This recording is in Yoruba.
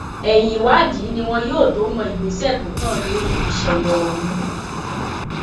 ẹyìn ìwádìí ni wọn yóò tóó mọ ìgbésẹ tó kàn lórí ìṣẹlẹ ọhún